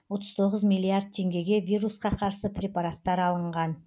отыз тоғыз миллиард теңгеге вирусқа қарсы препараттар алынған